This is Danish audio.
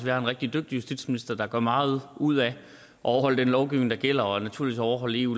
har en rigtig dygtig justitsminister der gør meget ud af at overholde den lovgivning der gælder og naturligvis overholde eu